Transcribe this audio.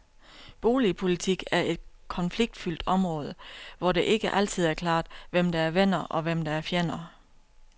Boligpolitik er et konfliktfyldt område, hvor det ikke altid er klart, hvem der er venner, og hvem der er fjender.